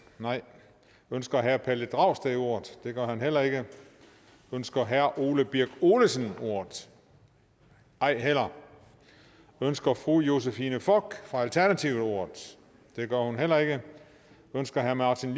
nej ønsker herre pelle dragsted ordet det gør han heller ikke ønsker herre ole birk olesen ordet ej heller ønsker fru josephine fock fra alternativet ordet det gør hun heller ikke ønsker herre martin